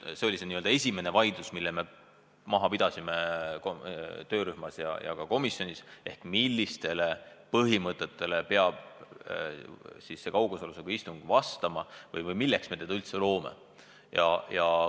Esimene vaidlus, mille me töörühmas ja ka komisjonis maha pidasime, oligi, milliseid põhimõtteid peab kaugosalusega istungi puhul silmas pidama või milleks me selle võimaluse üldse loome.